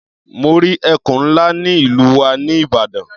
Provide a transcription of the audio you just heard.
Mo rí ẹkùn ńlá ní ìlú wa ní Ìbàdàn.